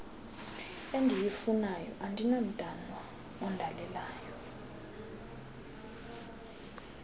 endiyifunayo andinamntwana ondalelelayo